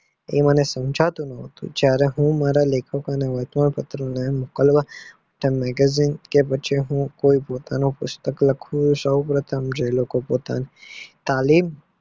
આ મને સમજાતું ના હતું હું મારા લેખકોને વાતમાં પાત્રો મોકલવા magegin કે પછી હું પોતાનું પુસ્તક લખું સૌ પ્રથમ લોકો પોતાની તાલીમ એ